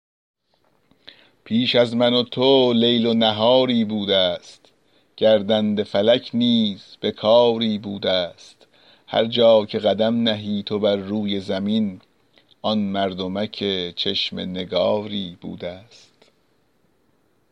پیش از من و تو لیل و نهاری بوده ست گردنده فلک نیز به کاری بوده است هر جا که قدم نهی تو بر روی زمین آن مردمک چشم نگاری بوده ست